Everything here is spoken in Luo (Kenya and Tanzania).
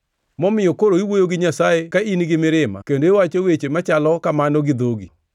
momiyo koro iwuoyo gi Nyasaye ka in gi mirima kendo iwacho weche machalo kamano gi dhogi?